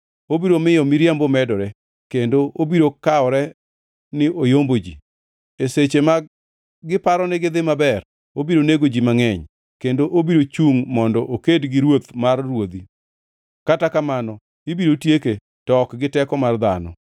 Obiro miyo miriambo medore, kendo obiro kawore ni oyombo ji. E seche ma giparo ni gidhi maber, obiro nego ji mangʼeny kendo obiro chungʼ mondo oked gi Ruoth mar ruodhi. Kata kamano ibiro tieke, to ok gi teko mar dhano.